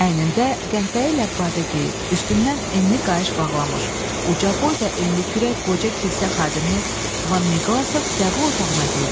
Əynində qəhvəyi ilə badə geyib, üstündən enli qayış bağlamış, uca boy və enli kürək qoca kilsə xadimi Van Miqlasov qəbul otağına girdi.